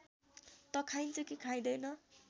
त खाइन्छ कि खाइँदैन